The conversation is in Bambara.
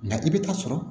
Nka i bɛ taa sɔrɔ